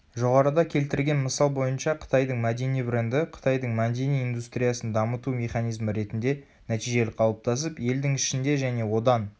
жоғарыда келтірген мысал бойынша қытайдың мәдени бренді қытайдың мәдени индустриясын дамыту механизмі ретінде нәтижелі қалыптасып елдің ішінде және одан